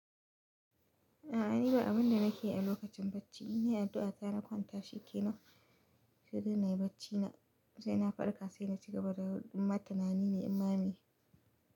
A'a ni ba abun da nake yi a lokacin bacci, ina addu'a ta na kwanta shi ke nai shiru na yi bacci na sai na farka sai na ci gaba da in ma tanani ne in meye.